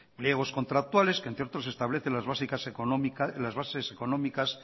pliegos contractuales que entre otros establecen las bases económicas